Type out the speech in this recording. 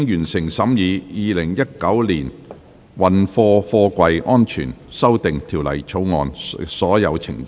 全體委員會已完成審議《2019年運貨貨櫃條例草案》的所有程序。